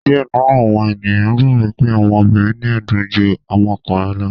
Diẹ nínú àwọn ènìyàn gbàgbó pe àwọn obìrin ni ẹdun jù àwọn ọkùnrin lọ.